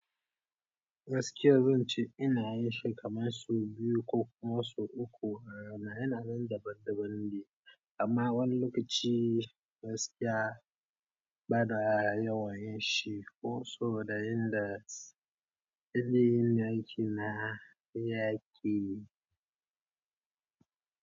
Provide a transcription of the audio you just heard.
Gaskiya zan ce ina yin shi kamar su biyu ko kuma su uku a rana. Yana nan daban-daban ne, amma wani lokaci gaskiya bada yawa yashi ko so da yin da aikin na yaƙe.